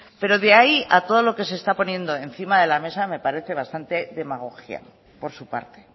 pero de ahí a todo lo que se está poniendo encima de la mesa me parece bastante demagogia por su parte